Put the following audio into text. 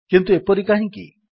କିନ୍ତୁ ଏପରି କାହିଁକି